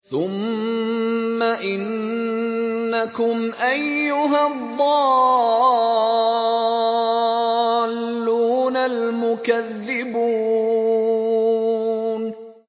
ثُمَّ إِنَّكُمْ أَيُّهَا الضَّالُّونَ الْمُكَذِّبُونَ